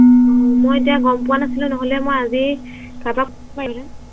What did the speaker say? অ মই এতিয়া গম পোৱা নাছিলো নহলে মই আজি কাৰোবাক পঠাইদিলোহেঁতেন